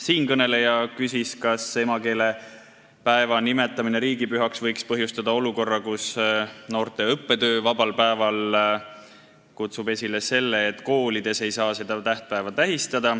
Siinkõneleja küsis, kas emakeelepäeva nimetamine riigipühaks võib põhjustada olukorra, kus noorte õppetöövaba päev kutsub esile selle, et koolides ei saa seda tähtpäeva tähistada.